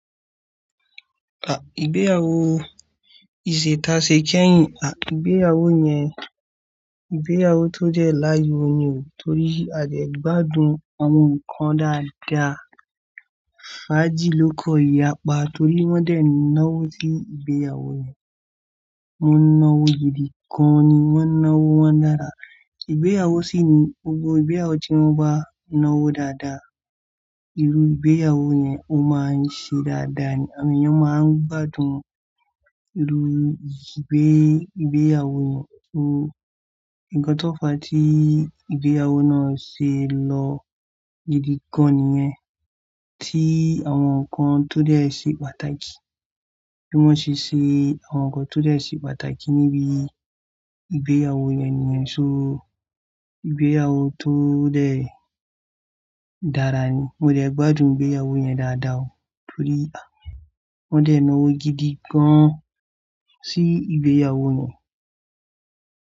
Ah! Ìgbéyàwó, ìṣètàsè kẹ́yìn, à, ìgbéyàwó yẹn, ìgbéyàwó tó dẹ láàyò ni o, torí a dẹ̀ gbádùn àwọn nǹkan dáadaa. Fají ló kọ ìyàpá torí wọ́n dẹ̀ náwó sí ìgbéyàwó yẹn. Wọ́n náwó gidi gan-an ni wọ́n náwó wọn na ara. Ìgbéyàwó sì ni gbogbo ìgbéyàwó tí wọ́n bá náwó dáadáa, irú ìgbéyàwó yẹn ó máa ṣe dáadáa ni. Àwọn èèyàn máa ń gbádùn irú ìgbé, ìgbéyàwó yẹn. So nnkan tọ́ fà tí ìgbéyàwó náà ṣe lọ́ gidi gan-an nìyẹn. Tí àwọn nǹkan tó dẹ̀ ṣe pàtàkì, bí wọ́n ṣe ṣe àwọn nǹkan tó dẹ̀ ṣe pàtàkì níbi ìgbéyàwó yẹn nìyẹn. So ìgbéyàwó tó dẹ̀ dára ni. Mo dẹ̀ gbádùn ìgbéyàwó yẹn dáadáa o torí, à, wọ́n dẹ̀ náwó gidi gan-an sí ìgbéyàwó yẹn.